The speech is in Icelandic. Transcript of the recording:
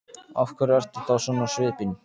Af hverju ertu þá svona á svipinn?